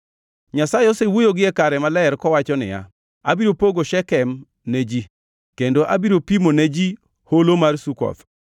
Nyasaye osewuoyo gie kare maler kowacho niya, “Abiro pogo Shekem ne ji, kendo abiro pimo ne ji Holo mar Sukoth.